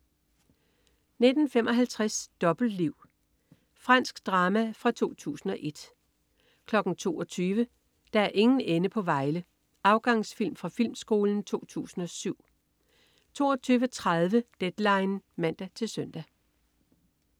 19.55 Dobbeltliv. Fransk drama fra 2001 22.00 Der er ingen ende på Vejle. Afgansfilm fra Filmskolen 2007 22.30 Deadline (man-søn)